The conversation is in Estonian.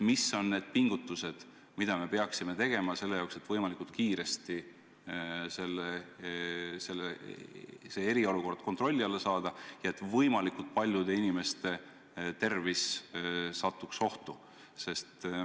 Mis on need pingutused, mida me peaksime tegema selle jaoks, et võimalikult kiiresti eriolukord kontrolli alla saada ja et samas võimalikult paljude inimeste tervis ei satuks ohtu.